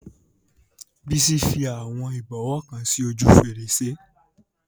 Bísí fi àwọn ìbọwọ́ kan sí ojú fèrèsé náà